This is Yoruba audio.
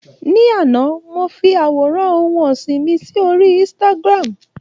Ní àná, mo fi àwòrán ohun ọ̀sìn mi sí orí Instagram.